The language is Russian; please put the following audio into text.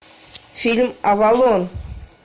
фильм авалон